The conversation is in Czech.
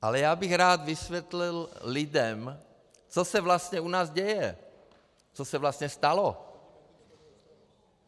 Ale já bych rád vysvětlil lidem, co se vlastně u nás děje, co se vlastně stalo.